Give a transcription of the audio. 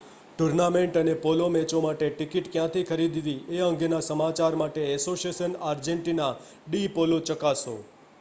tournament અને polo મેચો માટે ટિકિટ ક્યાંથી ખરીદવી એ અંગેના સમાચાર માટે એસોસિયાશન આર્જેંટિના ડી પોલો ચકાસો